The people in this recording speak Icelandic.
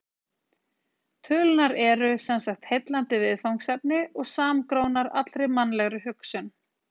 Tölurnar eru sem sagt heillandi viðfangsefni og samgrónar allri mannlegri hugsun.